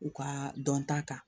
U ka dɔn ta kan